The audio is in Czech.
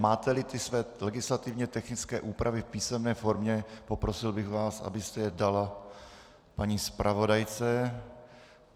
Máte-li své legislativně technické úpravy v písemné formě, poprosil bych vás, abyste je dal paní zpravodajce.